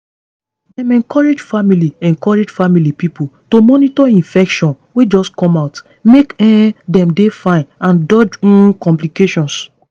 dem encourage family encourage family pipo to monitor infection wey just come out make um dem dey fine and dodge um complications